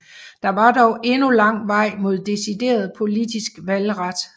Der var dog endnu lang vej mod decideret politisk valgret